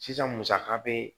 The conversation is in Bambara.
Sisan musaka bɛ